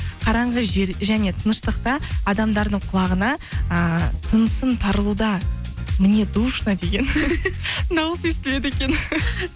қараңғы жер және тыныштықта адамдардың құлағына ыыы тынысым тарылуда мне душно деген дауыс естіледі екен